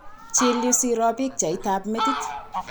Chill yu siro pichaitab konyek.